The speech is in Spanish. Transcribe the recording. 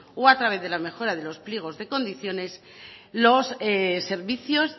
o a través de las mejoras de los pliegos de condiciones los servicios